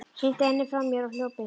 Hrinti henni frá mér og hljóp inn.